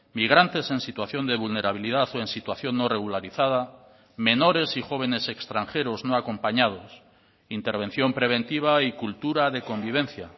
migrantes en situación de vulnerabilidad o en situación no regularizada menores y jóvenes extranjeros no acompañados intervención preventiva y cultura de convivencia